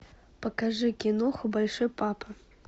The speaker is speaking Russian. покажи киноху большой папа